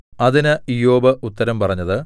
അതിന് ഇയ്യോബ് ഉത്തരം പറഞ്ഞത്